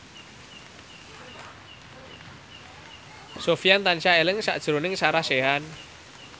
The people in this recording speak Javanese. Sofyan tansah eling sakjroning Sarah Sechan